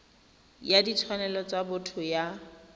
ya ditshwanelo tsa botho ya